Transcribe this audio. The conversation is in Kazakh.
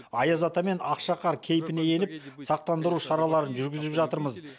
аяз ата мен ақшақар кейпіне еніп сақтандыру шараларын жүргізіп жатырмыз